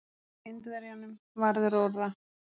Indverjanum varð rórra.